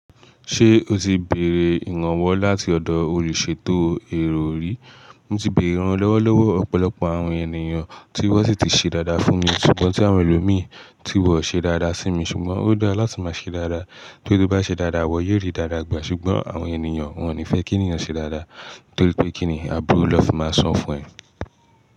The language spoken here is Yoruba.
Ṣé o ti bèrè ìrànwọ́ láti ọ̀dọ̀ olùṣètò èrò rí? Mo ti bèrè ìrànlọ́wọ́ lọ́pọ̀lọpọ̀ àwọn ènìyàn tí wọ́n sì ti ṣe dáadáa fún mi ṣùgbọ́n tí àwọn ẹlòmíì tí wọ́n ṣe dáadáa sí mi ṣùgbọ́n ó dára láti máa ṣe dáadáa. Tó bá ṣe dáadáa, iwọ́ yóò rí dáadáa gbà ṣùgbọ́n àwọn ènìyàn wọn ò ní fẹ́ kí ènìyàn ṣe dáadáa torípé kí nì àbúrò lófi máa sọ fún ẹ.